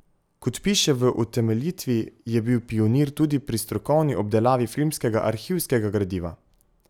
Kot piše v utemeljitvi, je bil pionir tudi pri strokovni obdelavi filmskega arhivskega gradiva.